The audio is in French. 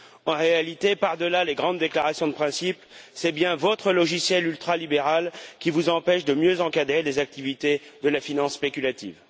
En réalité, par delà les grandes déclarations de principe, c'est bien votre logiciel ultralibéral qui vous empêche de mieux encadrer les activités de la finance spéculative.